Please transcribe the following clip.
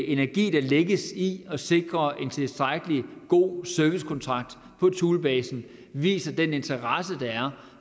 energi der lægges i at sikre en tilstrækkelig god servicekontrakt på thulebasen viser den interesse der er